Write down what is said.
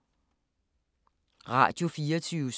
Radio24syv